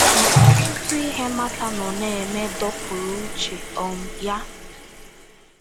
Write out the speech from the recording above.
Ma ọtụtụ ihe Mata nọ na - eme dọpụrụ uche um ya.